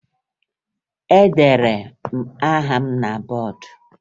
Edere m aha m na bọọdụ